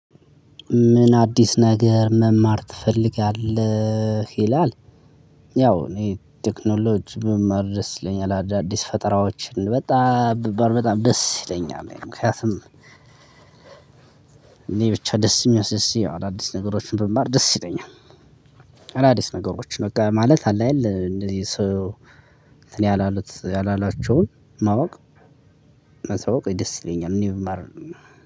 ምን አዲስ ነገር መማር ትፈልጋለህ ይላል? ያው እኔ ቴክኖሎጂ በመማር ደስ ይለኛል አዳዲስ ፈጠራዎችን በጣም በጣም ደስ ይለኛል። ምክንያቱም እኔ ብቻ ደስ ይመስል አዳዲስ ነገሮችን ብማር ደስ ይለኛል። አዳዲስ ነገሮች በቃ ማለት አለ የለ እንደዚህ ሰው። እንትን ያላሉት ያላላቸውን ማወቅ ማሳወቅ ደስ ይለኛል። እኔም